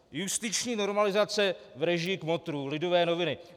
Justiční normalizace v režii kmotrů, Lidové noviny.